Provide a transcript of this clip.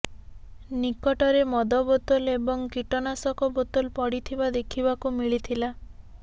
ନିକଟରେ ମଦ ବୋତଲ ଏବଂ କୀଟନାଶକ ବୋତଲ ପଡିଥିବା ଦେଖିବାକୁ ମିଳିଥିଲା